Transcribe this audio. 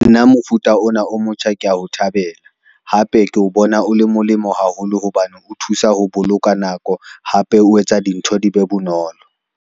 Nna mofuta ona o motjha ke a o thabela, hape ke o bona o le molemo haholo hobane o thusa ho boloka nako hape o etsa dintho di be bonolo.